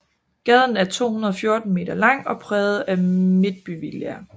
Gaden er 214 meter lang og præget af midtbyvillaer